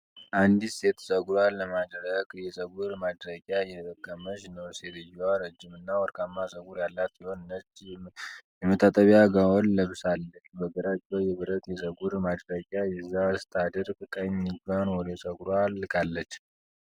አንዲት ሴት ፀጉሯን ለማድረቅ የፀጉር ማድረቂያ እየተጠቀመች ነው። ሴትየዋ ረጅም እና ወርቃማ ፀጉር ያላት ሲሆን ነጭ የመታጠቢያ ጋውን ለብሳለች። በግራ እጇ የብረት የፀጉር ማድረቂያ ይዛ ስታደርቅ፣ ቀኝ እጇን ወደ ፀጉሯ ልካለች።